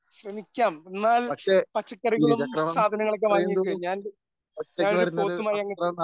ശ്രമിക്കാം എന്നാൽ പച്ചക്കറികളും സാധനങ്ങളും ഒക്കെ വാങ്ങി വെക്ക്. ഞാൻ ഞാനൊരു പോത്തുമായി അങ്ങെത്താം.